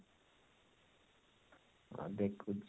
ଅ ଦେଖୁଛି